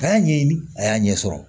A y'a ɲɛɲini a y'a ɲɛ sɔrɔ